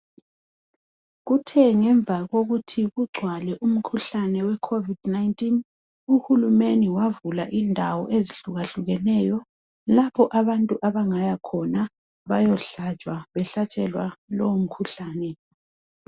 Kuthe ngemva kokuthi kugcwale umkhuhlane wecovid 19, uhulumende wavula indawo ezihlukahlukeneyo lapho abantu abangayakhona bayohlatshwa behlatshelwa lowo mkhuhlane.